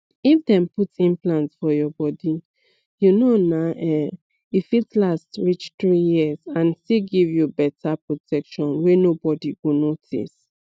if dem put implant for your bodyyou know naum e fit last reach three years and still give you better protection wey nobody go notice